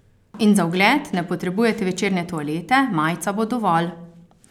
In za ogled ne potrebujete večerne toalete, majica bo dovolj.